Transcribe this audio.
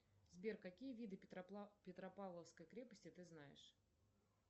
сбер какие виды петропавловской крепости ты знаешь